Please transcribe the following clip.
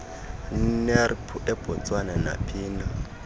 nrmp ebotswana naphina